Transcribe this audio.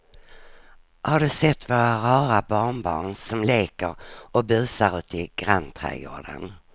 Har du sett våra rara barnbarn som leker och busar ute i grannträdgården!